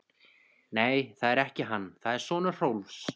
Nei, það er ekki hann, það er sonur Hrólfs.